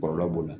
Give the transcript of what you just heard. Kɔlɔlɔ b'o la